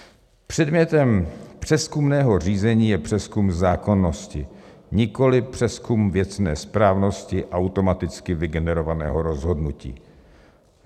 Předmětem přezkumného řízení je přezkum zákonnosti, nikoliv přezkum věcné správnosti automaticky vygenerovaného rozhodnutí.